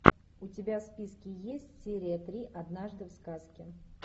у тебя в списке есть серия три однажды в сказке